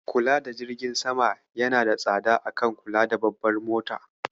Kula da jirgin sama yana da tsada a kan kula da babbar mota.